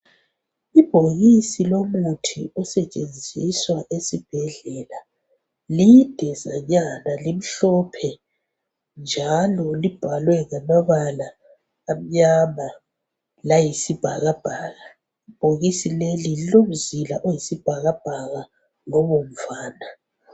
Ibhokisi lomuthi osetshenziswa esibhedlela lidezanyana limhlophe njalo libhalwe ngamabala amnyama layisibhakabhaka ibhokisi leli lilomzila oyisibhakabhaka lobomvana